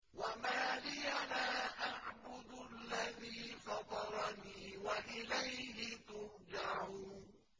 وَمَا لِيَ لَا أَعْبُدُ الَّذِي فَطَرَنِي وَإِلَيْهِ تُرْجَعُونَ